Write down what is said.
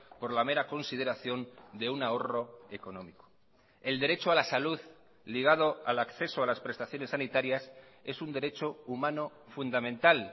por la mera consideración de un ahorro económico el derecho a la salud ligado al acceso a las prestaciones sanitarias es un derecho humano fundamental